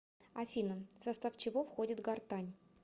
афина в состав чего входит гортань